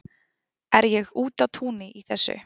Er ég úti á túni í þessu?